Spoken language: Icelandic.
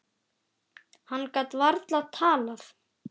Hann gat varla talað.